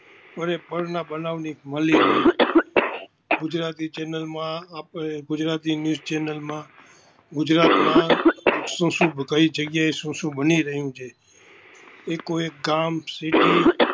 પળે પળે પળના બનાવ ન ગુજરાતી ચેનલ માં આપણે ગુજરાતી ન્યુસ ચેનલ માં ગુજરાત માં શું શું કઈ જગ્યા એ શું શું બની રહિયું છે, એકો એક ગામ ત્રણ city પળે પળે ના હોલીર છીએ.